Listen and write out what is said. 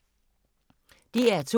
DR2